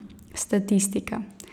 Statistika.